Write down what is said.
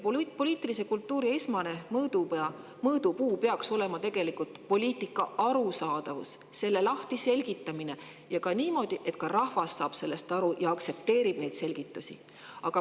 Poliitilise kultuuri esmane mõõdupuu peaks olema poliitika arusaadavus, selle selgitamine niimoodi, et ka rahvas saab sellest aru ja aktsepteerib neid selgitusi.